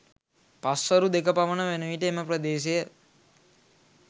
පස්වරු දෙක පමණ වනවිට එම ප්‍රදේශය